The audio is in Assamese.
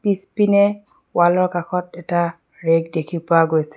পিছপিনে ৱাল ৰ কাষত এটা ৰেগ দেখি পোৱা গৈছে।